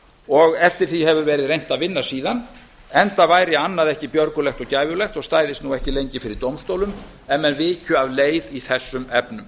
og eftir því hefur verið reynt að vinna síðan enda væri annað ekki björgulegt og gæfulegt og stæðist ekki lengi fyrir dómstólum af menn vikju af leið í þessum efnum